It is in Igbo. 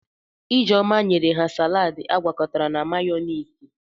Ijeoma nyere ha saladi agwakọtara na mayọniisi.